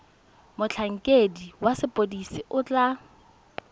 motlhankedi wa sepodisi o tla